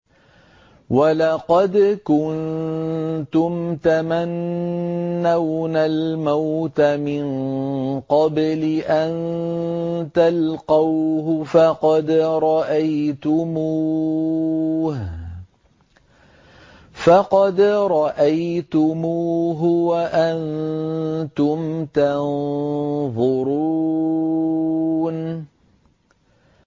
وَلَقَدْ كُنتُمْ تَمَنَّوْنَ الْمَوْتَ مِن قَبْلِ أَن تَلْقَوْهُ فَقَدْ رَأَيْتُمُوهُ وَأَنتُمْ تَنظُرُونَ